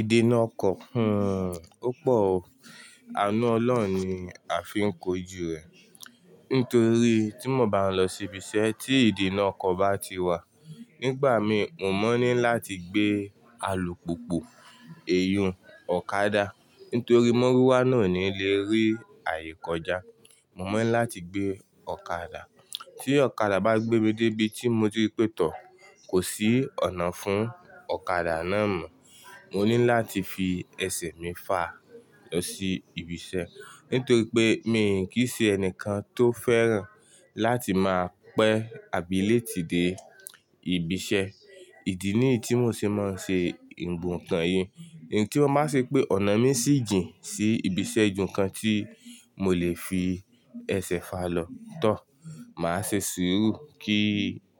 Idí náà kọ̀, ó pọ̀ o. Àánú Ọlọ́run ni a fi ń kojú rẹ̀. Nítorí tí mo bá lọ sí ibiṣẹ́ tí ìdí náà kọ̀ bá ti wà, nígbà mi mo mọ ní láti gbé alùpùpù, èyún, ọ̀kadà. Nítorí mọ́rúwá náà ó ní lé rí àye kọjá. Mo mọ̀ ní láti gbé ọ̀kadà. Tí ọ̀kadà bá gbé mi dé ibi tí mo ti rí pè tọ́, kò sí ọ̀nà fún ọ̀kadà náà mọ́. Mo ní láti fi ẹsẹ̀ mi fà lọ sí ibiṣẹ́. Nítorí pé mi kì í ṣe ẹnìkan tó fẹ́ràn láti máa pẹ́ àbí late de ibiṣẹ́. Ìdí ni yìí tí mò ṣe máa ṣe ǹkan yìí. Èyí tí ó bá ṣe pé ọ̀nà mi ṣì jìn sí ibiṣẹ́ ju nǹkan tí mo lè fi ẹsẹ̀ fà lọ tán. Màá ṣe sùúrù kí